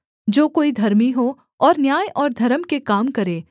जो कोई धर्मी हो और न्याय और धर्म के काम करे